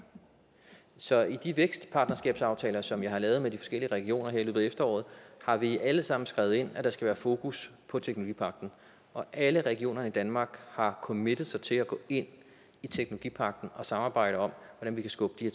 så i de vækstpartnerskabsaftaler som jeg har lavet med de forskellige regioner her i løbet af efteråret har vi alle sammen skrevet ind at der skal være fokus på teknologipagten og alle regioner i danmark har committet sig til at gå ind i teknologipagten og samarbejde om hvordan vi kan skubbe de